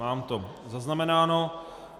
Mám to zaznamenáno.